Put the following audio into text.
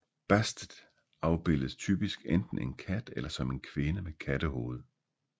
Bastet afbildes typisk enten en kat eller som en kvinde med kattehoved